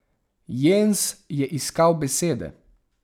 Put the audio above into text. Jens je iskal besede.